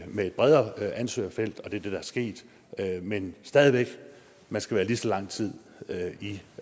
med et bredere ansøgerfeltet og det der er sket men stadig væk at man skal være lige så lang tid i